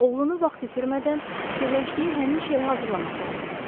Oğlunu vaxt itirmədən, fikirləşdiyi həmin işə hazırlamaq lazımdır.